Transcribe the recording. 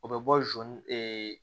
O bɛ bɔ zon ee